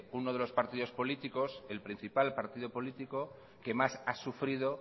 uno de los partidos políticos el principal partido político que más ha sufrido